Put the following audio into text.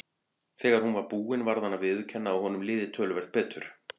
Þegar hún var búin varð hann að viðurkenna að honum liði töluvert betur.